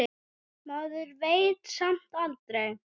Maður veit samt aldrei.